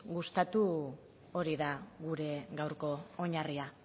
gustatu hori da gure gaurko oinarria